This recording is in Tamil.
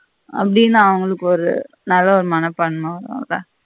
அப்படின்னு அவங்களுக்கு ஒரு நல்லாறு மனப்பான்ம வரும்ல